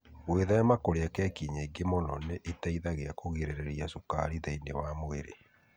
Gwĩthema kũrĩa keki nyingĩ mũno nĩ gũteithagia kũgirĩrĩria cukari thĩinĩ wa mwĩrĩ.